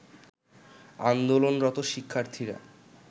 আন্দোলনরত শিক্ষার্থীরা